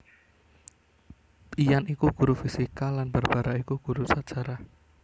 Ian iku guru fisika lan Barbara iku guru sajarah